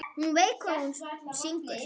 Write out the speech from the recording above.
Hún veit hvað hún syngur.